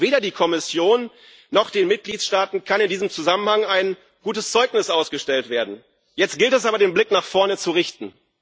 Weder der Kommission noch den Mitgliedstaaten kann in diesem Zusammenhang ein gutes Zeugnis ausgestellt werden. Jetzt gilt es aber, den Blick nach vorne zu richten.